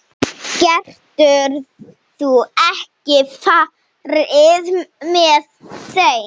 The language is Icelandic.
Geturðu ekki farið með þeim?